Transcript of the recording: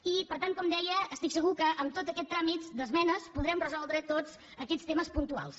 i per tant com deia estic segura que en tot aquest tràmit d’esmenes podrem resoldre tots aquests temes puntuals